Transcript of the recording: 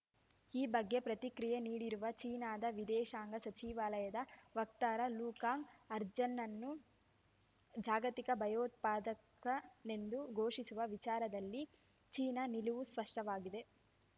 ಈ ಬಗ್ಗೆ ಪ್ರತಿಕ್ರಿಯೆ ನೀಡಿರುವ ಚೀನಾದ ವಿದೇಶಾಂಗ ಸಚಿವಾಲಯದ ವಕ್ತಾರ ಲುಕಾಂಗ್ ಅಜರ್‌ನನ್ನು ಜಾಗತಿಕ ಭಯೋತ್ಪಾದಕನೆಂದು ಘೋಷಿಸುವ ವಿಚಾರದಲ್ಲಿ ಚೀನಾ ನಿಲುವು ಸ್ಪಷ್ಟವಾಗಿದೆ